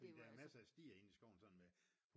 Fordi der er masser af stier inden i skoven sådan med